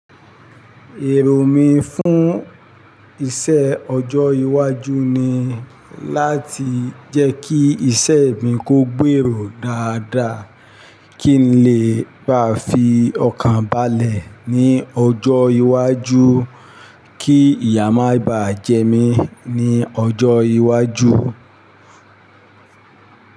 Èrò mi fún iṣẹ́ ọjọ́ iwájú ni láti jẹ́ kí iṣẹ́ mi kó gbèrò dáadáa, kí n lè bá fi ọkàn balẹ̀ ní ọjọ́ iwájú, kí ìyà má bá jẹ mí ní ọjọ́ iwájú.